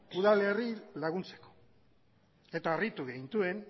udalerriei laguntzeko eta harritu gintuen